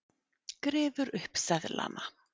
Grefur upp seðlana.